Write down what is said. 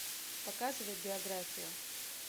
показывай биографию